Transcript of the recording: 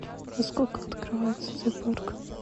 во сколько открывается зоопарк